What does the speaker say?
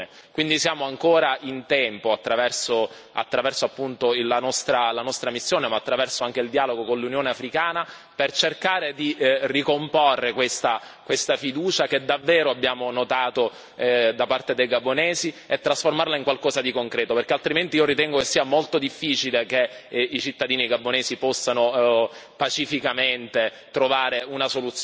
Quindi siamo ancora in tempo, attraverso la nostra missione, ma attraverso anche il dialogo con l'Unione africana, per cercare di ricomporre questa fiducia che davvero abbiamo notato da parte dei gabonesi e trasformarla in qualcosa di concreto, perché altrimenti io ritengo che sia molto difficile che i cittadini gabonesi possano pacificamente trovare una soluzione